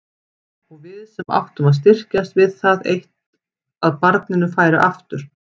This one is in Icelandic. Og við sem áttum að styrkjast við það eitt að barninu færi aftur.